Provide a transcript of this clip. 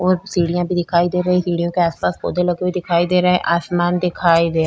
और सीढियां भी दिखाई दे रही है सीढ़ियों के आस-पास पौधे ही लगे हुए दिखाई दे रहे है आसमान दिखाई दे रहा है।